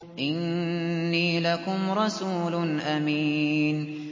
إِنِّي لَكُمْ رَسُولٌ أَمِينٌ